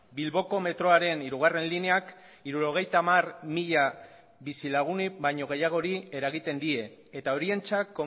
bilboko metroaren hirugarrena lineak hirurogeita hamar mila bizilaguni baino gehiagori eragiten die eta horientzat